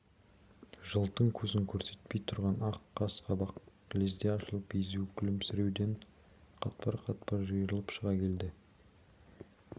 жылтың көзін көрсетпей тұрған ақ қас-қабақ лезде ашылып езуі күлімсіреуден қатпар-қатпар жиырылып шыға келді